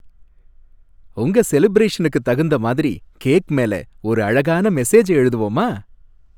உங்க செலிபரேஷனுக்குத் தகுந்த மாதிரி கேக் மேல ஒரு அழகான மெசேஜை எழுதுவோமா?